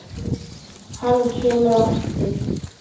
Hann kemur aftur.